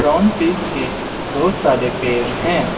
One fish के बहुत सारे पैर हैं।